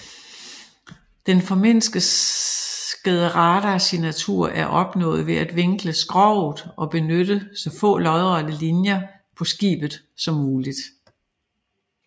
Den formindskede radarsignatur er opnået ved at vinkle skroget og benytte så få lodrette linjer på skibet som muligt